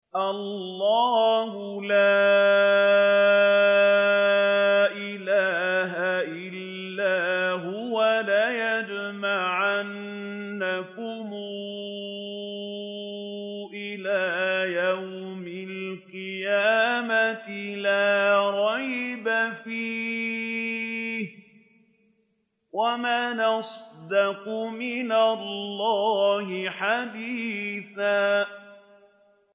اللَّهُ لَا إِلَٰهَ إِلَّا هُوَ ۚ لَيَجْمَعَنَّكُمْ إِلَىٰ يَوْمِ الْقِيَامَةِ لَا رَيْبَ فِيهِ ۗ وَمَنْ أَصْدَقُ مِنَ اللَّهِ حَدِيثًا